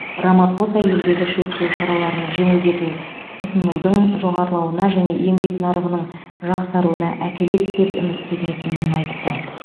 рамапоса елдегі шектеу шараларын жеңілдету тұтынудың жоғарылауына және еңбек нарығының жақсаруына әкеледі деп үміттенетінін айтты